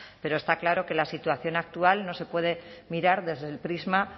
pero está claro que la situación actual no se puede mirar desde el prisma